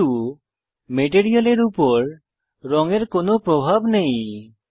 কিন্তু মেটেরিয়ালের উপর রঙের কোনো প্রভাব নেই